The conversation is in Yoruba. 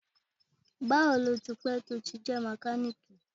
Bawo ni o ti pẹ to ti jẹ mekaniki?